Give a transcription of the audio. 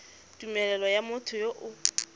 tumelelo ya motho yo o